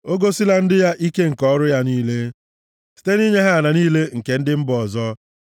O gosila ndị ya ike nke ọrụ ya niile, site nʼinye ha ala niile nke ndị mba ọzọ.